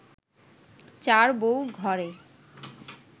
চার বউ ঘরে